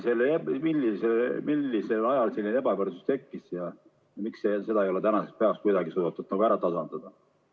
Millal selline ebavõrdsus tekkis ja miks seda ei ole tänaseks päevaks kuidagi suudetud ära tasandada?